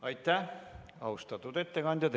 Aitäh, austatud ettekandja!